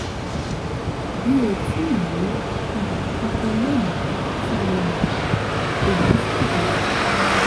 mi ò tíì ní ibà kankan lónìí tí mo mọ̀- èyí ṣàjèjì